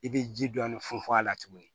I bɛ ji dɔɔni funfun a la tuguni